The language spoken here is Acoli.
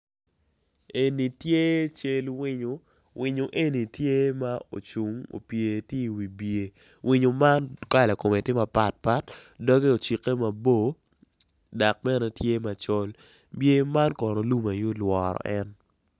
En tye cal winyo ma ocun i wibye doge ocikke mabor dok dye man lum aye ma olworo en.